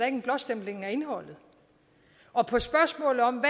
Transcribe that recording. en blåstempling af indholdet og på spørgsmålet om